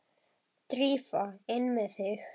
Drífa, inn með þig!